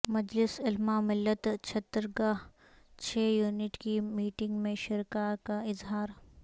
مجلس علماء ملت چھترگاچھ یونٹ کی میٹنگ میں شرکاء کا اظہار